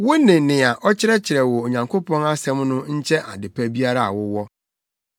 Wone nea ɔkyerɛkyerɛ wo Onyankopɔn asɛm no nkyɛ ade pa biara a wowɔ.